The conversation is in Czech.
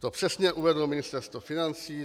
To přesně uvedlo Ministerstvo financí.